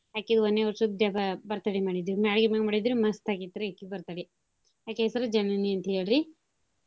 ಅಕಿದ್ ವನ್ನೇ ವರ್ಷದ್ ಜಬ~ birthday ಮಾಡಿದ್ವಿ ಮ್ಯಾಳ್ಗಿ ಮ್ಯಾಲ್ ಮಾಡಿದ್ವಿ ಮಸ್ತ್ ಆಗೀತ್ ರಿ ಅಕಿ birthday ಅಕಿ ಹೆಸರು ಜನನಿ ಅಂತೇಳ್ ರಿ.